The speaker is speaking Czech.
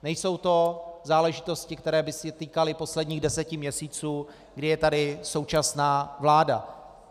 Nejsou to záležitosti, které by se týkaly posledních deseti měsíců, kdy je tady současná vláda.